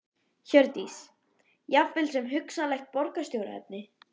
Hjördís: Jafnvel sem hugsanlegt borgarstjóraefni?